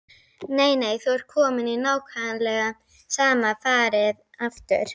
Nei, nei, þú ert kominn í nákvæmlega sama farið aftur.